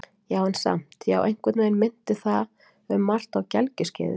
Já, en samt- já, einhvern veginn minnti það um margt á gelgjuskeiðið.